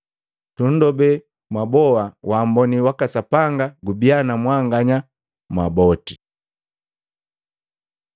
Tunndobe mwaboa waamboni waka Sapanga gubia na mwanganya mwaboti.